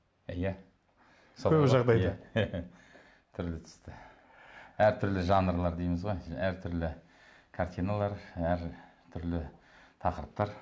иә түрлі түсті әртүрлі жанрлар дейміз ғой әртүрлі картиналар әртүрлі тақырыптар